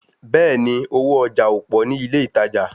Bẹ́ẹ̀ni, owó ọjà ò pọ̀ ní ilé ìtajà